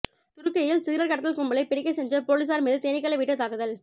துருக்கியில் சிகரெட் கடத்தல் கும்பலை பிடிக்க சென்ற போலீசார் மீது தேனீக்களை விட்டு தாக்குதல்